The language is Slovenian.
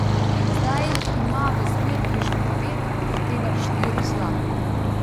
Zdaj jih ima v zbirki že devet, od tega štiri zlate.